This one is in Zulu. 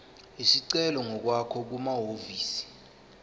isicelo ngokwakho kumahhovisi